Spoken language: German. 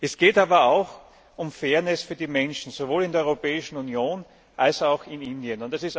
Es geht aber auch um Fairness für die Menschen sowohl in der Europäischen Union als auch in Indien.